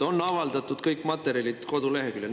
"On avaldatud kõik materjalid koduleheküljel.